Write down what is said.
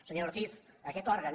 senyora ortiz aquest òrgan